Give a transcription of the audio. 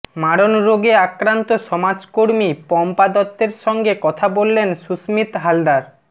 মারণরোগে আক্রান্ত সমাজকর্মী পম্পা দত্তের সঙ্গে কথা বললেন সুস্মিত হালদার